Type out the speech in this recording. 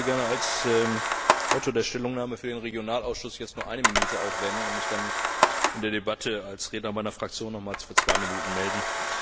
Ich würde gerne als Verfasser der Stellungnahme für den Regionalausschuss jetzt nur eine Minute aufwenden und mich dann in der Debatte als Redner meiner Fraktion nochmals für zwei Minuten melden.